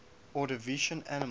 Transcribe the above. ordovician animals